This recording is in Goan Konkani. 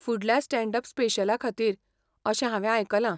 फुडल्या स्टॅण्ड अप स्पेशला खातीर अशें हांवें आयकलां.